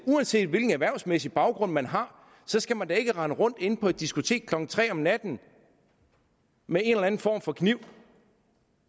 uanset hvilken erhvervsmæssig baggrund man har skal man da ikke rende rundt inde på diskotek klokken tre om natten med en eller anden form for kniv